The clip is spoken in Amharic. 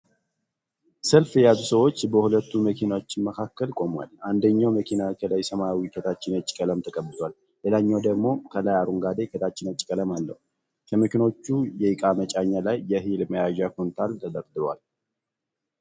ሰልፍ የያዙ ሰዎች በሁለቱ መኪኖች መካከል ቆመዋል። አንደኛዉ መኪና ከላይ ሰማያዊ ከታች ነጭ ቀለም ተቀብቷል። ሌላኛዉ ደግም ከላይ አረንጓዴ ከታች ነጭ ቀለም አለዉ። ከመኪኖቹ የእቃ መጫኛ ላይ የእህል መያዣ ኩንታል ተደርድሯል።